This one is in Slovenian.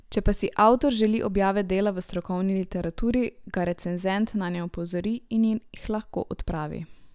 Če pa si avtor želi objave dela v strokovni literaturi, ga recenzent nanje opozori in jih lahko odpravi.